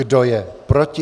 Kdo je proti?